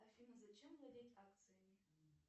афина зачем владеть акциями